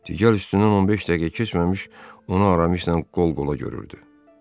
Gəlin üstündən 15 dəqiqə keçməmiş onu Aramis ilə qol-qola görüldü.